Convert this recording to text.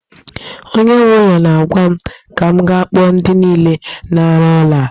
Onye nwe ụlọ na-agwa m ka m ga kpọọ ndi niile na-aru ọrụ a